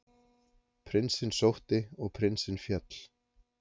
Prinsinn sótti og prinsinn féll.